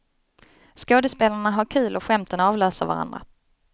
Skådespelarna har kul och skämten avlöser varandra.